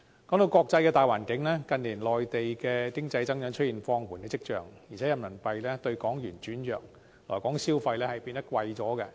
關於國際大環境，近年內地經濟增長出現放緩跡象，加上人民幣兌港元轉弱，令來港消費變得較為昂貴。